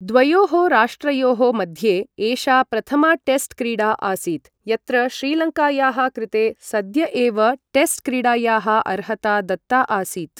द्वयोः राष्ट्रयोः मध्ये एषा प्रथमा टेस्ट् क्रीडा आसीत्, यत्र श्रीलङ्कायाः कृते सद्य एव टेस्ट् क्रीडायाः अर्हता दत्ता आसीत् ।